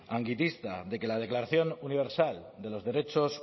de que la declaración universal de los derechos